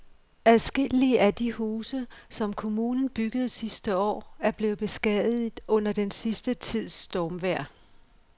Adskillige af de huse, som kommunen byggede sidste år, er blevet beskadiget under den sidste tids stormvejr.